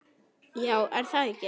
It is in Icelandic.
Já er það ekki?